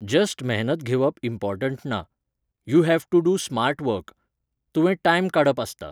Just मेहनत घेवप important ना. You have to do smart work. तुवें टायम काडप आसता